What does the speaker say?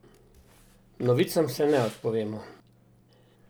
Novicam se ne odpovemo!